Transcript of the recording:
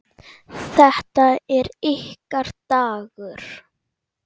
Þetta er ykkar dagur.